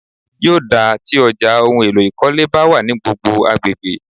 Yóò dáa tí ọjà ohun èlò ìkọ́lé bá wà ní gbogbo agbègbè.